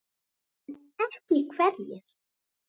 En ekki hverjir?